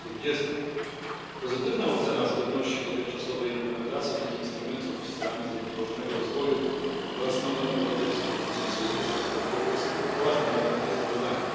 2020. Pozytywna ocena zgodności dotychczasowej implementacji tych instrumentów z celami zrównoważonego rozwoju oraz nowym europejskim konsensusem w sprawie rozwoju jest ważnym elementem sprawozdania.